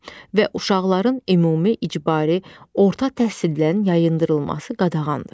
Və uşaqların ümumi icbari orta təhsildən yayındırılması qadağandır.